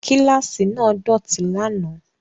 Kíláàsì náà dọ̀tí lánàá